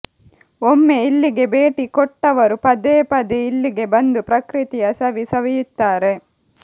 ಒಮ್ಮೆ ಇಲ್ಲಿಗೆ ಭೇಟಿ ಕೊಟ್ಟವರು ಪದೇ ಪದೇ ಇಲ್ಲಿಗೆ ಬಂದು ಪ್ರಕೃತಿಯ ಸವಿ ಸವಿಯುತ್ತಾರೆ